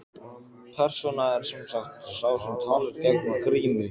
Persóna er sem sagt sá sem talar í gegnum grímu.